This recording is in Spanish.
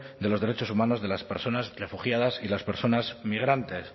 de los derechos humanos de las personas refugiadas y de las personas migrantes